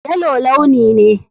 Yellow launi ne.